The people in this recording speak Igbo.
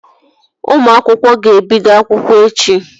Ụmụ akwụkwọ ga-ebido akwụkwọ echi